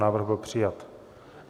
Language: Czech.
Návrh byl přijat.